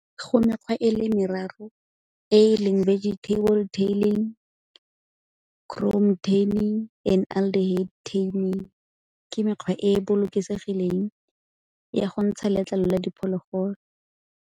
Go mekgwa e le meraro e e leng vegetable tanning, tanning and underhead tanning. Ke mekgwa e e bolokegileng ya go ntsha letlalo la diphologolo.